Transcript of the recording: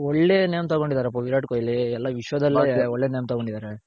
ಒಳ್ಳೇ name ತಗೊಂಡಿದರಪ್ಪ ವಿರಾಟ್ ಕೊಹ್ಲಿ ವಿಶ್ವದಲ್ಲೇ ಒಳ್ಳೇ name ತಗೊಂಡಿದಾರೆ